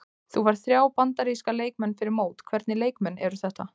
Þú færð þrjá Bandaríska leikmenn fyrir mót, hvernig leikmenn eru þetta?